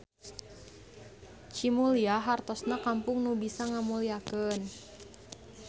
Cimulya hartosna kampung nu bisa ngamulyakeun.